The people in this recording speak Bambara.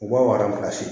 U b'a